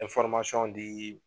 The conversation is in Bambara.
di